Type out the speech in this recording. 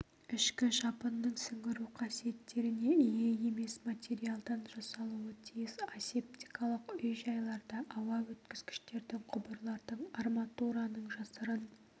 ішкі жабынның сіңіру қасиеттеріне ие емес материалдан жасалуы тиіс асептикалық үй-жайларда ауа өткізгіштердің құбырлардың арматураның жасырын